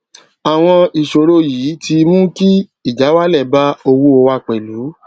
àwọn ìṣòro yìí ti mú kí ìjáwálè bá owó wa pèlú